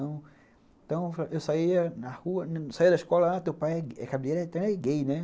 Então, eu saía na rua, saía da escola, ah, teu pai é cabeleireiro, então ele é gay, né?